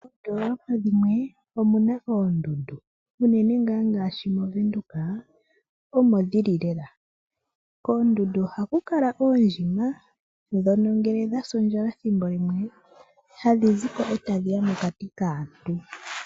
Moondoolop dhimwe omu na oondundu ngaashi mOvenduka omo dhi li lela. Koondundu ohaku kala oondjima ndhono ngele dha sa ondjala hadhi zi ko e tadhi ya mokati kaantu.